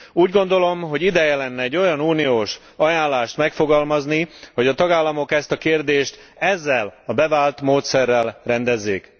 Úgy gondolom, hogy ideje lenne egy olyan uniós ajánlást megfogalmazni, hogy a tagállamok ezt a kérdést ezzel a bevált módszerrel rendezzék.